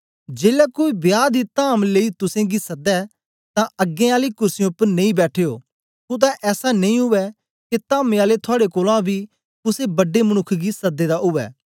जेलै कोई बियाह दी धाम लेई तुसेंगी सदै तां अगें आली कुर्सीयें उपर नेई बैठयो कुतै ऐसा नेई उवै के धामे आले थुआड़े कोलां बी कुसे बड्डे मनुक्ख गी सदे दा उवै